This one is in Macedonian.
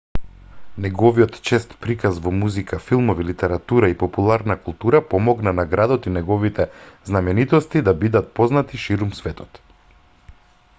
неговиот чест приказ во музика филмови литература и популарна култура помогна на градот и неговите знаменитости да бидат познати ширум светот